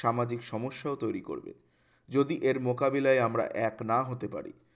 সামাজিক সমস্যাও তৈরি করবে যদি এর মোকাবিলায় আমরা এক না হতে পারি